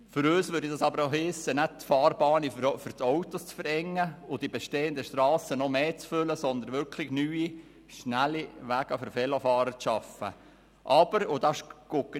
Für uns würde das aber auch heissen, dass nicht die Fahrbahnen für die Autos zu verengen und die bestehenden Strassen noch mehr zu füllen sind, sondern wirklich neue, schnelle Wege für die Velofahrer geschaffen werden müssten.